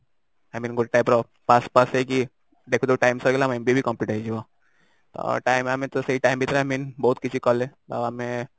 i mean ଗୋଟେ type ର pass pass ହେଇକି ଦେଖୁ ଦେଖୁ time ସରିଗଲା ଆମ MBA ବି Complete ହେଇଯିବ ତ time ଆମେ ତ ସେଇ time ଭିତରେ ଆମେ ତ ବହୁତ କିଛି କଲେ ଆଉ ଆମେ